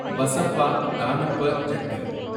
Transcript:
பசப்பா தானப்பா ஜட்டி